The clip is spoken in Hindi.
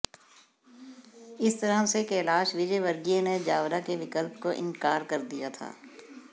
इस तरह से कैलाश विजयवर्गीय ने जावरा के विकल्प को इंकार कर दिया था